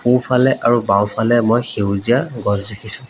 সোঁফালে আৰু বাওঁফালে মই সেউজীয়া গছ দেখিছোঁ।